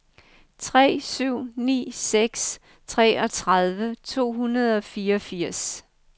tre syv ni seks treogtredive to hundrede og fireogfirs